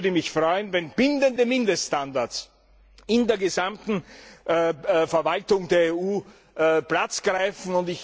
Es würde mich freuen, wenn bindende Mindeststandards in der gesamten Verwaltung der EU Platz greifen.